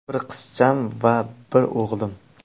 Bir qizcham va bir o‘g‘lim.